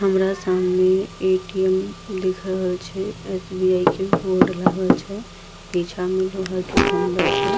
हमरा सामने ए.टी.एम. दिख रहल छे एस.बी.आई. के बोर्ड लागल छे पीछा में लोहा के खंभा छे।